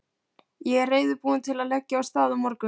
Ég er reiðubúinn til að leggja af stað á morgun.